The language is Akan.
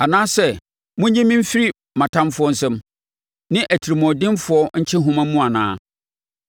anaasɛ monnye me mfiri mʼatamfoɔ nsam, ne atirimuɔdenfoɔ nkyehoma mu anaa?’